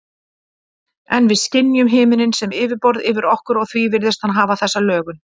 En við skynjum himininn sem yfirborð yfir okkur og því virðist hann hafa þessa lögun.